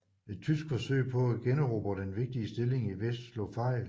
Et tysk forsøg på at generobre den vigtige stilling i vest slog fejl